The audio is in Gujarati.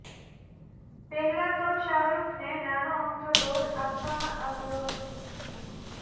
પહેલાં તો શાહરૂખને નાનો અમથો રોલ આપવામાં આવ્યો હતો